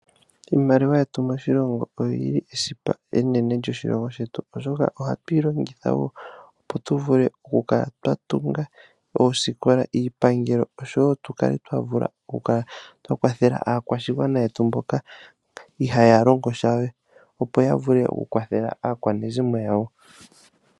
Iimaliwa yetu moshilongo oyili esipa enene lyoshilongo shetu, oshoka ohatu yilongitha wo opo tuvule okukala twatunga oosikola, iipangelo osho wo tukale twavula oku kwathela aakwashigwana yetu mboka ihaya longo sha, opo yavule okukwathela aakwanezimo yawo.